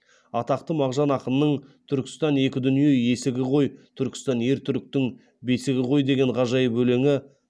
атақты мағжан ақынның түркістан екі дүние есігі ғой түркістан ер түріктің бесігі ғой деген ғажайып өлеңі